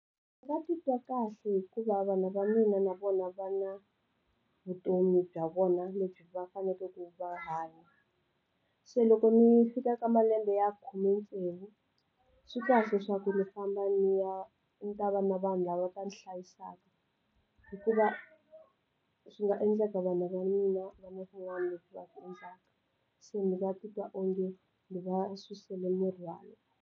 Va titwa kahle hikuva vanhu va mina na vona va na vutomi bya vona lebyi va fanekele ku va hanya se loko ni fika ka malembe ya khume tsevu swikahle swa ku ndzi famba ndzi ya ndzi ta va na vanhu lava va ndzi hlayisaka hikuva swi nga endleka vanhu va mina va na swin'wana leswi va swi endlaka se ni va titwa onge ndzi va susele mirhwalo.